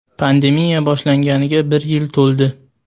Pandemiya boshlanganiga bir yil to‘ldi.